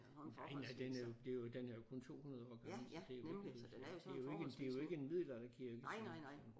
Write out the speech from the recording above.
Nej nej den er jo det er jo den er jo kun 200 år gammel så det er jo det er jo ikke det er jo ikke en middeladerkirke